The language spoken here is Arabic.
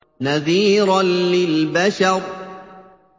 نَذِيرًا لِّلْبَشَرِ